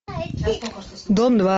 дом два